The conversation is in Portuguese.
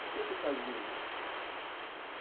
O que vocês faziam?